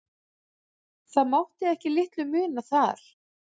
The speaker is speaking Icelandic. Það mátti ekki litlu muna þar.